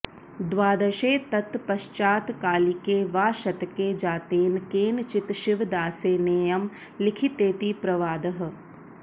द्वादशे ततः पश्चात्कालिके वा शतके जातेन केनचित् शिवदासेनेयं लिखितेति प्रवादः